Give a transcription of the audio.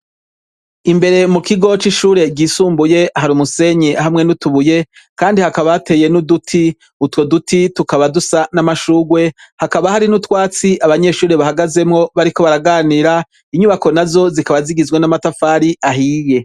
Imbere mukigo cishure ryisumbuye hari umusenyi hamwe nutubuye kandi hakaba hateye nuduti utwo duti tukaba dusa namashurwe hakaba hari nutwatsi abanyeshure bahagazemwo bariko baraganira inyubako nazo zikaba zigize amatafari ahiye